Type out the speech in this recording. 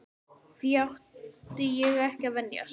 Því átti ég ekki að venjast.